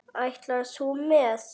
Ætlar þú með?